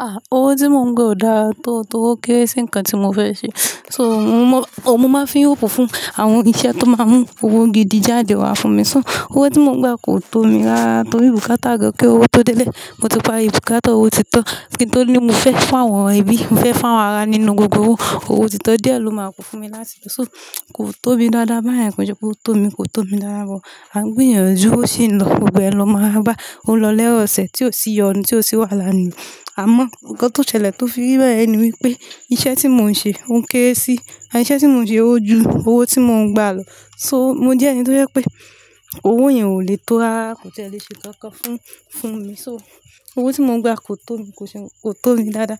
Ah! Owó tí mò ń gba ò dáa tó o, torí ó kéré sí nǹkan tí mo fẹ́ ṣe. So, mo mo, o mo máa fín òpó fún àwọn iṣẹ́ tó máa ń mú owó gidi jáde wá fún mi so. Owó tí mò ń gba kò tó mi rára, torí bùkátá gan kí owó tó délé, mo ti parí bùkútá, owó ti tán. Kí n tó ní mo fẹ́ fáwọn ẹbí, mo fẹ́ fáwọn ara nínú gbogbo owó, owó ti tán. Díẹ̀ ló máa kún fún mi lásìkò. So, kò tó mi dáadáa. Bóyá èrò pé ṣe pé ò tó mi, kò tó mi rárá mọ́. A ń gbìyànjú, ó sì ń lọ. Gbogbo ẹ lọ máa rára gbá. Ó ń lọ lé ọ̀sẹ̀ tí ó sì yọnu, tí ó sì wàhálà láàárín mi. Àmọ́ nǹkan tó ṣẹlẹ̀ tó fi rí báyen ni wípé iṣẹ́ tí mò ń ṣe ó ń kéré sí, à iṣẹ́ tí mò ń ṣe ó jù owó tí mò ń gba lọ. So, mo jẹ́ ẹni tó jẹ́ pé owó yẹn ò lè tó rárá, kò tiẹ̀ é lè ṣe kankan fún, fún mi. So, owó tí mò ń gba kò tó mi, kò ṣe, kò tó mi dáadáa.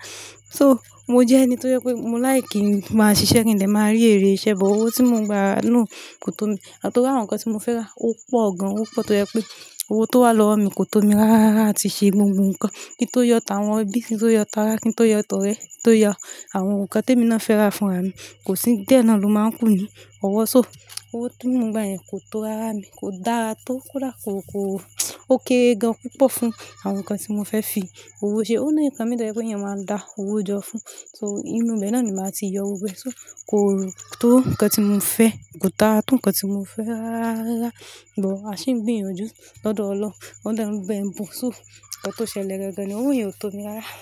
So, mo jẹ́ ẹni tó jẹ́ pé mo láì kí máa ṣiṣẹ́ kí n lè máa rí èrè iṣẹ́, but owó tí mò ń gba náà kò tó mi. Àtọ̀wọ́ àwọn nǹkan tí mo fẹ́ rà ó pọ̀ gan. Ó pọ̀ tó yẹ pé owó tó wà lọ́wọ́ mi kò tó mi rárárára àti ṣe gbogbo nǹkan. Kí n tó yọ táwọn ẹbí, kí n tó yọ tára, kí n tó yọ tọrẹ, kí n tó yọ àwọn nǹkan tí èmi náà fẹ́ rà fúnra mi. Kò sí, díẹ̀ náà ló máa ń kù ni. Ọwọ́ ṣó, owó tí mò ń gba yẹn kò tó rararara ni, kò dára tó. Kódà kò, kò, ó kéré gan púpọ̀ fún àwọn nǹkan tí mo fẹ́ fi owó ṣe. Ó ní nǹkan emì tó yẹ pé èèyàn máa ń dá owó jọ fún. So, inú ibẹ̀ yẹn náà ni màá ti yọ owó ẹ. So, kò tó nǹkan tí mò fẹ́. Kò dáa tó nǹkan tí mò fẹ́ rárárárarara. But a sì ń gbìyànjú lọ́dọ̀ Ọlọ́hun. Ọlọ́run bẹ̀ bù. So, nǹkan tó ṣẹlẹ̀ gangan ni owó yẹn ò tó mi rárá.